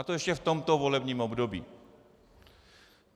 A to ještě v tomto volebním období.